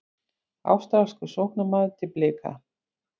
Ástralskur sóknarmaður til Blika